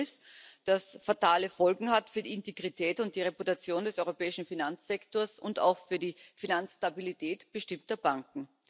Ein Versäumnis, das fatale Folgen hat für die Integrität und die Reputation des europäischen Finanzsektors und auch für die Finanzstabilität bestimmter Banken.